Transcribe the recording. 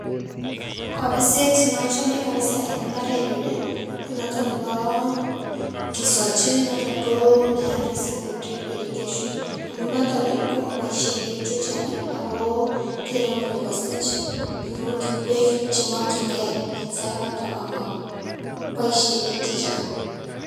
Kobiset neochome kabisa en mbarenyun ii ko noton neboo kisochi noton ko naat missing' koo drip irrigation amun noton ii komoboisien biik chechang' ago kere kole kosich rurutik beek chemokyingei en sainoton omo boisien beek chechang'.